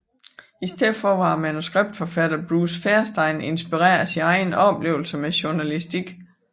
I stedet var manuskriptforfatteren Bruce Feirstein inspireret af sine egne oplevelser med journalistik